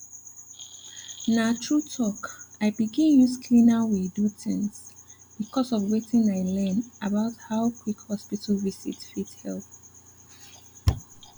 na true talk i begin use cleaner way do things because of wetin i learn about how quick hospital visit fit help